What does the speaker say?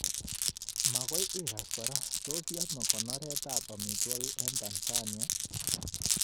Magoi igas kora, tos yame konoret ab amitwogik eng Tansania